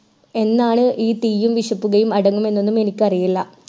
എന്നാണ് ഈ തീയും വിഷപുകയും അടങ്ങുമെന്നെനും എനിക്ക് അറിയില്ല